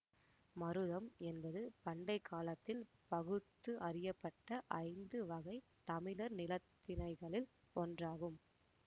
மருதம் என்பது பண்டை காலத்தில் பகுத்து அறியப்பட்ட ஐந்து வகை தமிழர் நிலத்திணைகளில் ஒன்றாகும்